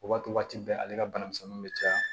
O b'a to waati bɛɛ ale ka banamisɛnninw be caya